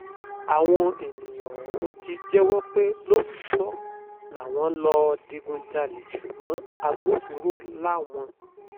àwọn èèyàn ọ̀hún ti jẹ́wọ́ pé lóòótọ́ làwọn lọ́ọ́ digunjalè ṣùgbọ́n agbófinró làwọn